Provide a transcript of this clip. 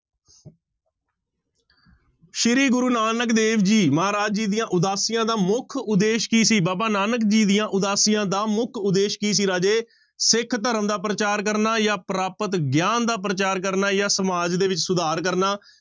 ਸ੍ਰੀ ਗੁਰੂ ਨਾਨਕ ਦੇਵ ਜੀ ਮਹਾਰਾਜ ਜੀ ਦੀਆਂ ਉਦਾਸੀਆਂ ਦਾ ਮੁੱਖ ਉਦੇਸ਼ ਕੀ ਸੀ, ਬਾਬਾ ਨਾਨਕ ਜੀ ਦੀਆਂ ਉਦਾਸੀਆਂ ਦਾ ਮੁੱਖ ਉਦੇਸ਼ ਕੀ ਸੀ ਰਾਜੇ, ਸਿੱਖ ਧਰਮ ਦਾ ਪ੍ਰਚਾਰ ਕਰਨਾ ਜਾਂ ਪ੍ਰਾਪਤ ਗਿਆਨ ਦਾ ਪ੍ਰਚਾਰ ਕਰਨਾ ਜਾਂ ਸਮਾਜ ਦੇ ਵਿੱਚ ਸੁਧਾਰ ਕਰਨਾ